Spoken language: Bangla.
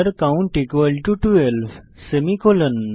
count 12 semicolon